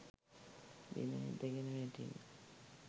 බිම ඇදගෙන වැටිණි.